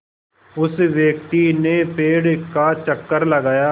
उस व्यक्ति ने पेड़ का चक्कर लगाया